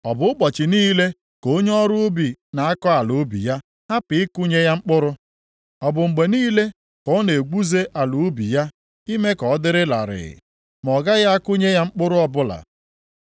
Ọ bụ ụbọchị niile ka onye ọrụ ubi na-akọ ala ubi ya hapụ ịkụnye ya mkpụrụ? Ọ bụ mgbe niile ka ọ na-egwuze ala ubi ya ime ka ọ dị larịị, ma ọ gaghị akụnye ya mkpụrụ ọbụla?